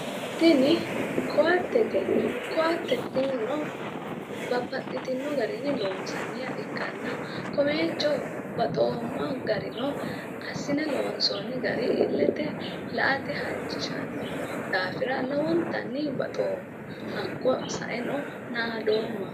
tini koattete koatte tinino babbaxitino garinni loonsanniha ikkanna kowiicho baxoomma garino assine loonsoonni gari illete la''ate halchisanno daafira lowontanni baxoomma hakkii saeno naadoomma.